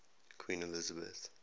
queen elizabeth